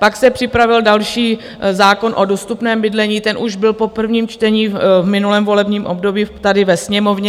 Pak se připravil další zákon o dostupném bydlení, ten už byl po prvním čtení v minulém volebním období tady ve Sněmovně.